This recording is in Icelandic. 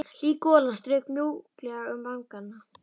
Hlý golan strauk mjúklega um vangana.